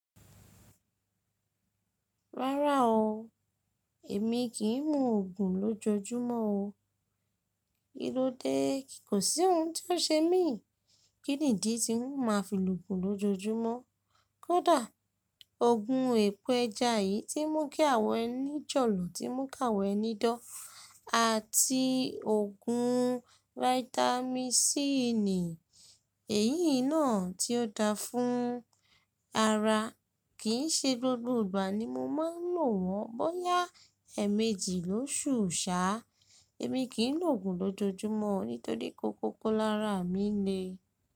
Rárá o, èmi kì í mu òògùn lójoojúmọ́ o. Kí ló dé? Kò sí ohun tó ṣe mí, kí nìdí tí n ó máa fi lo òògùn lójoojúmọ́. Kódà òògùn èpè ẹja yìí tí ń mú kí àwọ ẹni jọ̀lọ̀, tí ń mú káwọ ẹni dán àti òògùn Vitamin C yìí náà tí ó da fún ara kì í ṣe gbogbo ìgbà ni mo máa ń lò wọ́n. Bóyá èemẹjì lóṣù ṣáá, èmi kì í lo òògùn lójoojúmọ́ nítorí ko kókó lára mi le.